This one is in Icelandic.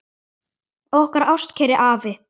Okkar ástkæri afi.